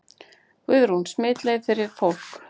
Guðrún: Smitleið fyrir fólk?